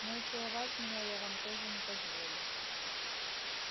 но и целовать меня я вам тоже не позволю